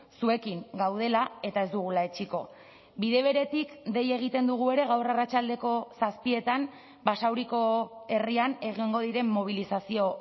zuekin gaudela eta ez dugula etsiko bide beretik dei egiten dugu ere gaur arratsaldeko zazpietan basauriko herrian egongo diren mobilizazio